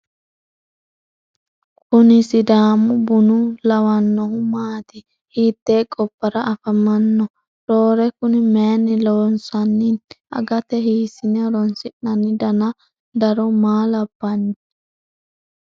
kuni sidaamu buna lawannohu maati ? hiite gobbara afamanno roore kuni mayinni lossinanni ? agate hiisine horoonsi'nanni dana daro maa labbanno ?